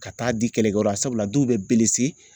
Ka taa di kɛlɛkɛyɔrɔ la sabula dɔw bɛ